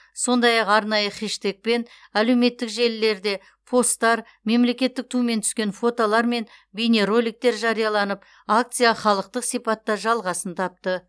сондай ақ арнайы хештегпен әлеуметтік желілерде посттар мемлекеттік тумен түскен фотолар мен бейнероликтер жарияланып акция халықтық сипатта жалғасын тапты